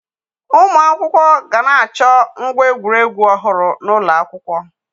Ụmụ akwụkwọ ga na-achọ ngwa egwuregwu ọhụrụ n'ụlọ akwụkwọ